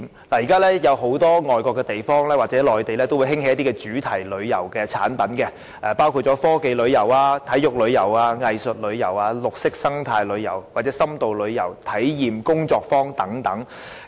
現時外國很多地方或內地也興起一些主題旅遊產品，包括科技旅遊、體育旅遊、藝術旅遊、綠色生態旅遊、深度旅遊或體驗工作坊等。